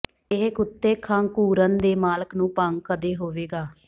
ਇਹ ਕੁੱਤੇ ਖੰਘੂਰਨ ਦੇ ਮਾਲਕ ਨੂੰ ਭੰਗ ਕਦੇ ਹੋਵੇਗਾ